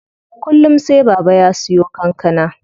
Kullum sai Baba ya siyo kankana.